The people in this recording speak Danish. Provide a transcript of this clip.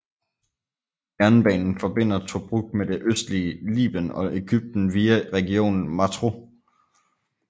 Jernbanen forbinder Tobruk med det østlige Liben og Egypten via regionen Matruh